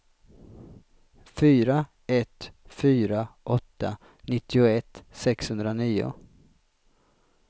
fyra ett fyra åtta nittioett sexhundranio